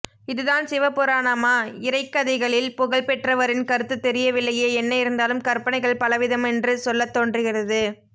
இதுதான் சிவ புராணமா இறைக்கதைகளில் புகழ் பெற்றவரின் கருத்து தெரியவில்லையே என்ன இருந்தாலும் கற்பனைகள்பலவிதமென்று சொல்லத் தோன்றுகிறது